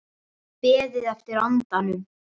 Beðið eftir andanum